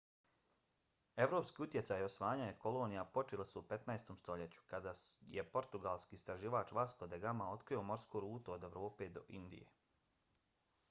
evropski utjecaj i osvajanje kolonija počeli su u 15. stoljeću kada je portugalski istraživač vasco da gama otkrio morsku rutu od evrope do indije